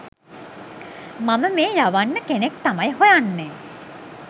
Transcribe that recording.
මම මේ යවන්න කෙනෙක් තමයි හොයන්නේ